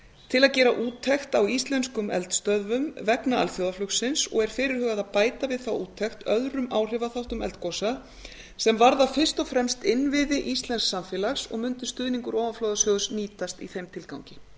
til að gera úttekt á íslenskum eldstöðvum vegna alþjóðaflugsins og er fyrirhugað að bæta við þá úttekt öðrum áhrifaþáttum eldgosa sem varða fyrst og fremst innviði íslensks samfélags og mundi stuðningur ofanflóðasjóðs nýtast í þeim tilgangi